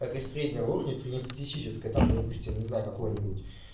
так из среднего уровня среднестатистического там не пустим не знаю какой-нибудь